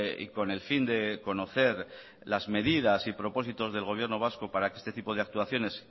y con el fin de conocer las medidas y propósitos del gobierno vasco para este tipo de actualizaciones